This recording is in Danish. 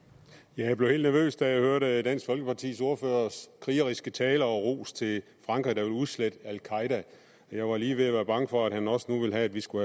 jeg blev helt nervøs da jeg hørte dansk folkepartis ordførers krigeriske tale og ros til frankrig der vil udslette al qaeda jeg var lige ved at være bange for at han nu også vil have at vi skal